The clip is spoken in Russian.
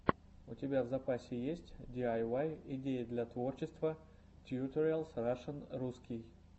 у тебя в запасе есть диайвай идеи для творчества тьюториалс рашн русский